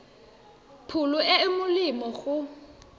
pholo e e molemo go